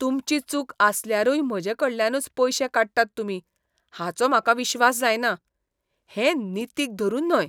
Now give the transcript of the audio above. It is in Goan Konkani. तुमची चूक आसल्यारूय म्हजेकडल्यानूच पयशें काडटात तुमी हाचो म्हाका विश्वास जायना. हें नितीक धरून न्हय.